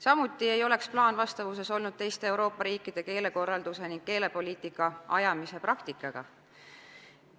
Samuti ei oleks plaan vastavuses olnud teiste Euroopa riikide keelekorralduse ning keelepoliitika ajamise praktikaga.